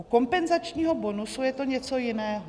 U kompenzačního bonusu je to něco jiného.